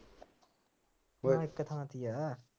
ਚੱਲ ਇੱਕ ਥਾਂ ਚ ਹੀ ਹੈ